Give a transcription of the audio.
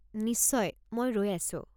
নিশ্চয়, মই ৰৈ আছোঁ।